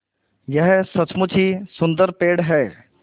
यह सचमुच ही सुन्दर पेड़ है